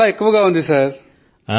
అధికం గా ఉంది సర్